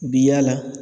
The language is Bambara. U bi yaala